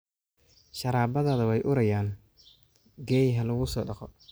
sharabaadadaada wey uraayaan geey halaku sodaqo